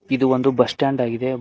ಇದು ಒಂದು bus stand ಆಗಿದೆ.